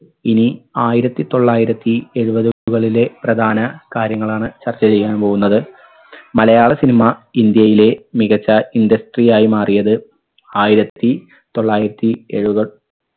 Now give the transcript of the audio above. ഇനി ആയിരത്തി തൊള്ളായിരത്തി എഴുപതുകളിലെ പ്രധാന കാര്യങ്ങളാണ് ചർച്ച ചെയ്യാൻ പോകുന്നത്. മലയാള cinema ഇന്ത്യയിലെ മികച്ച industry ആയി മാറിയത് ആയിരത്തി തൊള്ളായിരത്തി എഴുപത്